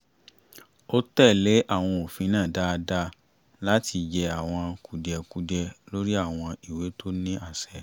ó tẹ̀lé àwọn òfin náà dáadáa láti yẹ àwọn kùdìẹ̀kudiẹ lórí àwọn ìwé tó ní àṣẹ